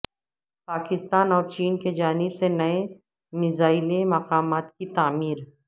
پاکستان اور چین کی جانب سے نئے میزائیلس مقامات کی تعمیر